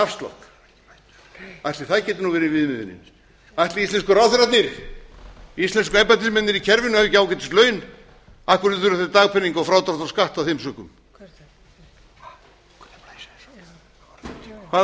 engan afslátt ætli það geti nú verið viðmiðunin ætli íslensku ráðherrarnir íslensku embættismennirnir í kerfinu hafi ekki ágætis laun af hverju þurfa þeir dagpeninga og frádrátt frá skatti af þeim sökum hvaða bull er þetta þetta